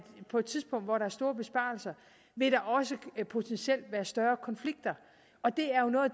på et tidspunkt hvor der er store besparelser vil der også potentielt være større konflikter og det er jo noget af